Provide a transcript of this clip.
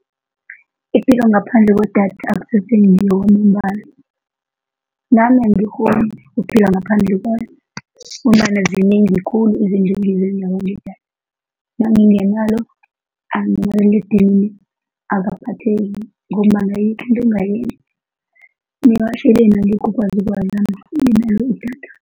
Ipilo ngaphandle kwedatha akusese ngiyo kwamambala, nami angikghoni ukuphila ngaphandle kwayo ngombana zinengi khulu izinto engizenzako ngedatha, nangingenalo, nomaliledinini akaphatheki ngombana ayikho into engingayenza kuyatjho idatha.